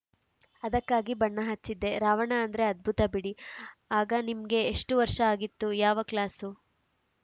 ಅದಕ್ಕಾಗಿ ಬಣ್ಣ ಹಚ್ಚಿದ್ದೆ ರಾವಣ ಅಂದ್ರೆ ಅದ್ಭುತ ಬಿಡಿ ಆಗ ನಿಮ್ಗೆ ಎಷ್ಟುವರ್ಷ ಆಗಿತ್ತು ಯಾವ ಕ್ಲಾಸು